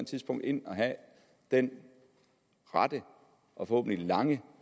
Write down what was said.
tidspunkt ind og have den rette og forhåbentlig lange